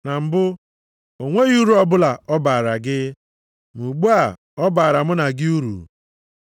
Na mbụ, o nweghị uru ọbụla ọ baara gị, ma ugbu a, ọ baara mụ na gị uru.